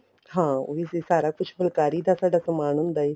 ਹਾਂ ਉਹ ਵੀ ਸਾਰਾ ਕੁੱਚ ਫੁਲਕਾਰੀ ਦਾ ਸਾਡਾ ਸਮਾਨ ਹੁੰਦਾ ਏ